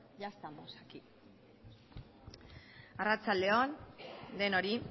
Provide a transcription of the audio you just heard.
ya estamos aquí arratsalde on denoi